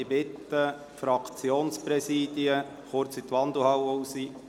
Ich bitte die Fraktionspräsidien kurz in die Wandelhalle.